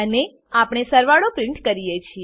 અને આપણે સરવાળાને પ્રીંટ કરીએ છીએ